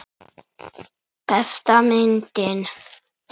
Besta myndin.